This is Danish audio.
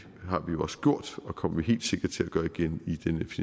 har vi jo også gjort og det kommer vi helt sikker til at gøre igen